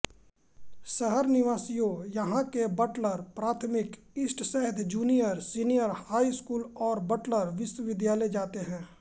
शहर निवासियों यहॉं के बटलर प्राथमिक इस्टसैद जूनियरसीनियर हाई स्कूल और बटलर विश्वविद्यालय जाते है